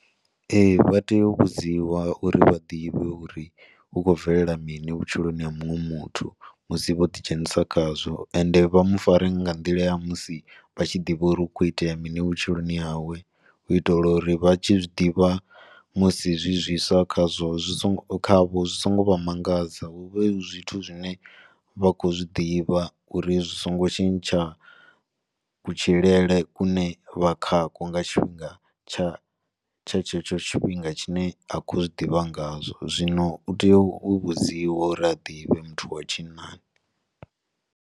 Ee, vha tea u vhudziwa uri vha ḓivhe uri hu khou bvelela mini vhutshiloni ha muṅwe muthu musi vho ḓi dzhenisa khazwo, ende vha mu fare nga nḓila ya musi vha tshi ḓivha uri hu khou itea mini vhutshiloni hawe, u itela uri vha tshi zwiḓivha musi zwi zwiswa kha zwo zwi songo, kha vho zwi songo vha mangadza, hu vhe hu zwithu zwine vha khou zwiḓivha uri zwi songo tshintsha ku tshilele kune vha kha ko nga tshifhinga tsha, tsha tshe tsho thifhinga tshine a khou zwi ḓivha nga tsho, zwino u tea u vhudziwa uri a ḓivhe muthu wa tshinnani.